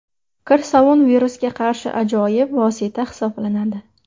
Kir sovun virusga qarshi ajoyib vosita hisoblanadi.